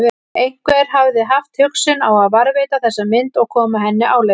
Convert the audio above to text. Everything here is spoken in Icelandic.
Einhver hafði haft hugsun á að varðveita þessa mynd og koma henni áleiðis.